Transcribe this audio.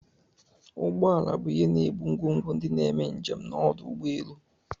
Ụgbọ ala bu ihe ebu ngwogwo ndi n'eme njem n'ọdụ ụgbọ elu.